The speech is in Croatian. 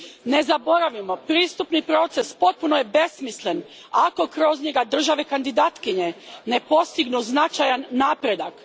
Ne zaboravimo, pristupni proces potpuno je besmislen ako kroz njega države kandidatkinje ne postignu značajan napredak.